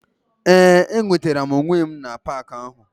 Ee enwetara m onwe m na park ahụ.